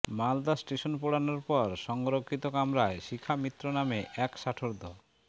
Malda station পেড়োনোর পর সংরক্ষিত কামরায় শিখা মিত্র নামে এক ষাটোর্ধ